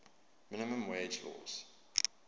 minimum wage laws